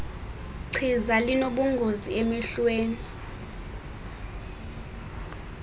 chiza linobungozi emehlweni